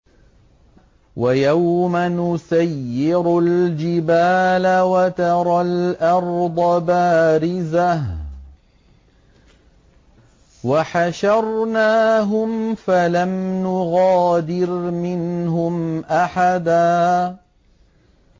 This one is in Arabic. وَيَوْمَ نُسَيِّرُ الْجِبَالَ وَتَرَى الْأَرْضَ بَارِزَةً وَحَشَرْنَاهُمْ فَلَمْ نُغَادِرْ مِنْهُمْ أَحَدًا